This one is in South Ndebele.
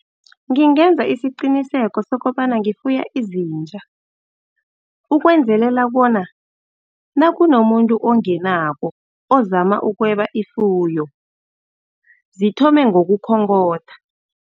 Ngingenza isiqiniseko sokobana ngifuna izitja. Ukwenzelela bona nakunomuntu angenako, ozama ukweba ifuyo, zithome ngokukhonkotha.